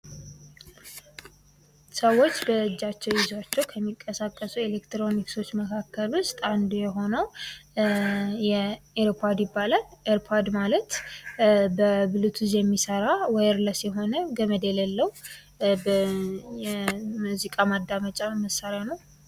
ሰዎች በእጃቸዉ ይዟቸዉ ከሚንቀሳቀሱ ኤሌክትሮኒክሶች መካከል ዉስጥ አንዱ የሆነዉ " "ኤር ፓድ" ይባላል። ኤር ፓድ ማለት በብሉቱዝ የሚሰራ "ዋየር ለስ" የሆነ ገመድ የሌለዉ የሙዚቃ ማዳመጫ መሳሪያ ነዉ።